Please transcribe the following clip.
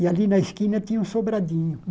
E ali na esquina tinha um sobradinho.